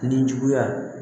Nin juguya